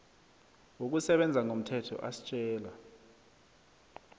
wokusebenza ngomthetho asitjela